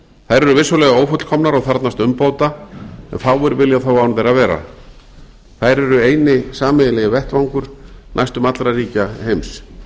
eru vissulega ófullkomnar og þarfnast umbóta en fáir vilja þó án þeirra vera þær eru eini sameiginlegi vettvangur næstum allra ríkja heims